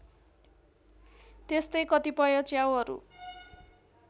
त्यस्तै कतिपय च्याउहरू